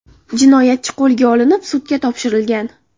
Jinoyatchi qo‘lga olinib, sudga topshirilgan.